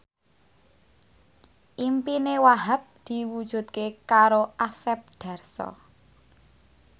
impine Wahhab diwujudke karo Asep Darso